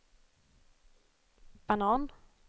banan